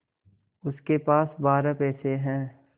उसके पास बारह पैसे हैं